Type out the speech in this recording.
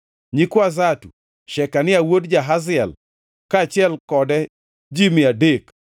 nyikwa Zatu, Shekania wuod Jahaziel, kaachiel kode ji mia adek;